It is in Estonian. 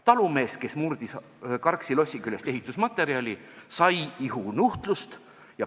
Talumees, kes murdis Karksi lossi küljest ehitusmaterjali, sai ihunuhtlust.